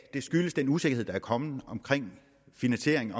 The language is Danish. det skyldes den usikkerhed der er kommet omkring finansieringen